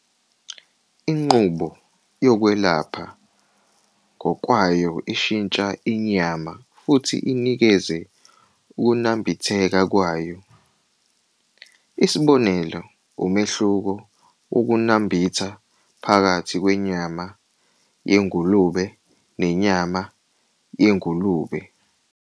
Inqubo yokwelapha ngokwayo ishintsha inyama futhi inikeze ukunambitheka kwayo.isibonelo umehluko wokunambitha phakathi kwenyama yengulube nenyama yengulube.